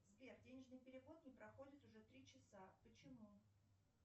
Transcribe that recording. сбер денежный перевод не проходит уже три часа почему